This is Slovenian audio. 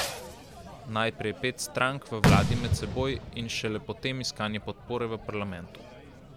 Najprej pet strank v vladi med seboj in šele potem iskanje podpore v parlamentu.